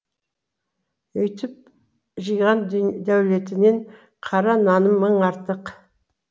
өйтіп жиған дәулетіңнен қара наным мың артық